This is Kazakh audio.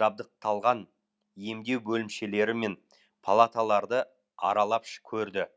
жабдықталған емдеу бөлімшелері мен палаталарды аралап көрді